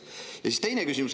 Ja teine küsimus.